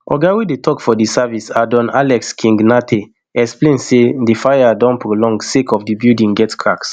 oga wey dey tok for di service adoone alex king nartey explain say di fire don prolong sake of di building gat cracks